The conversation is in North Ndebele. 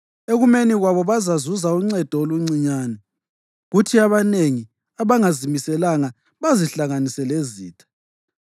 Ekumeni kwabo bazazuza uncedo oluncinyane, kuthi abanengi abangazimiselanga bazihlanganise lezitha.